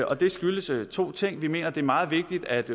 og det skyldes to ting vi mener at det er meget vigtigt at